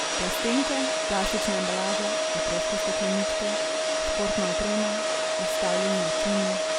Plastenke, plastična embalaža, otroške stekleničke, športna oprema, izstavljeni računi ...